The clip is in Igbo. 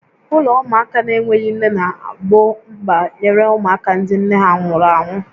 Ụlọ ụmụaka n'enweghị nne na-egbo mkpa nyere ụmụaka ndị nne ha nwụnahụrụ ha.